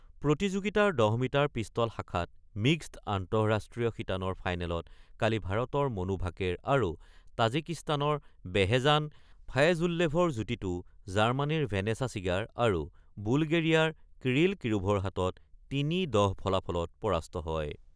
প্ৰতিযোগিতাৰ ১০ metre pistol শাখাত mixed আন্তঃৰাষ্ট্ৰীয় শিতানৰ ফাইনেলত কালি ভাৰতৰ মনু ভাকেৰ আৰু তাজিকিস্তানৰ বেহেজান ফায়েজুল্লেভৰ যুটীটো জাৰ্মানীৰ ভেনেছা ছিগাৰ আৰু বুলগেৰিয়াৰ কিৰিল কিৰোভৰ হাতত ৩-১০ ফলাফলত পৰাস্ত হয়।